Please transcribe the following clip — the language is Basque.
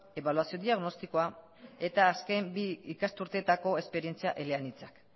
ebaluazio diagnostikoa eta azken bi ikasturteetako esperientzia eleanitza